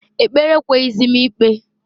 Ekpere ekweghizi m ikpe.